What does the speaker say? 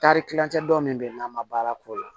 Taari kilancɛ dɔ min bɛ yen n'a ma baara k'o la